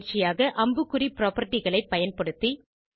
பயிற்சியாக அம்புக்குறி புராப்பர்ட்டி களை பயன்படுத்தி 1